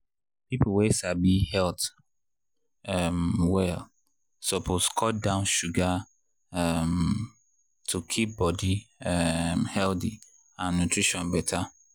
people wey sabi health um well suppose cut down sugar um to keep body um healthy and nutrition better.